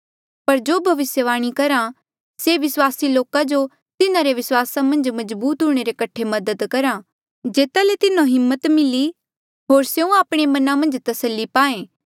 पर जो भविस्यवाणी करहा से विस्वासी लोका जो तिन्हारे विस्वासा मन्झ मजबूत हूंणे रे कठे मदद करहा जेता ले तिन्हो हिम्मत मिली होर स्यों आपणे मना मन्झ तस्सली पाएं